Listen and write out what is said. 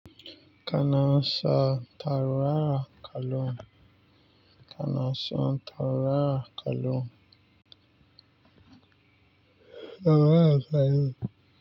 Kana sa taru rara kallo. Kana sa taru rara kallon. Rara saye.